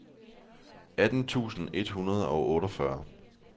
atten tusind et hundrede og otteogfyrre